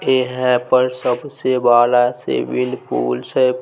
-- ए है पर सबसे बड़ा स्विमिंग पूल्स है--